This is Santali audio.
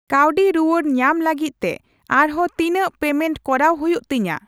ᱠᱟᱣᱰᱤ ᱨᱩᱣᱟᱹᱲ ᱧᱟᱢ ᱞᱟᱹᱜᱤᱫ ᱛᱮ ᱟᱨᱦᱚᱸ ᱛᱤᱱᱟᱹᱠ ᱯᱮᱢᱮᱱᱴ ᱠᱚᱨᱟᱣ ᱦᱩᱭᱩᱜ ᱛᱤᱧᱟ ?